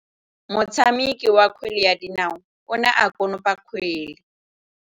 Motshameki wa kgwele ya dinaô o ne a konopa kgwele.